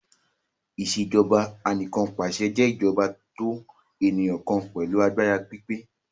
Ìṣèjọba Anìkanpàṣẹ jé ìjọba tó eniyan kan pẹlu àgbàrá pípé.